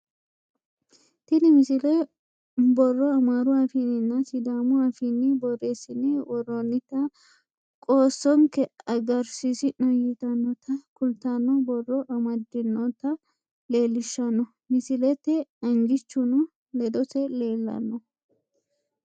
tini misile borro amaaru afiinninna sidaamu afiinni borreessine worroonnita qoossonke agarsiisi'no yitannota kultanno borro amaddinota leellishshanno misileeti angichuno ledose leellanno